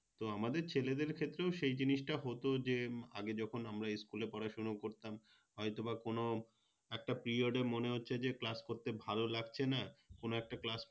তো আমাদের ছেলেদের ক্ষেত্রেও সেই জিনিসটা হতো যে আগে যখন আমরা School এ পড়াশুনো করতাম হয়তো বা কোনো একটা Period এ মনে হচ্ছে যে Class করতে ভালো লাগছে না কোনো একটা Class